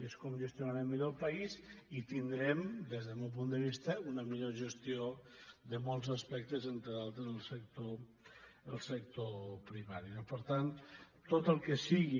és com gestionarem millor el país i tindrem des del meu punt de vista una millor gestió de molts aspectes entre d’altres el sector primari no per tant tot el que sigui